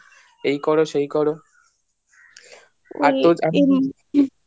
এই করো সেই করো